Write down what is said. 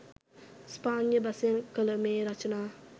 ස්පාඤ්ඤ බසින් කළ මේ රචනා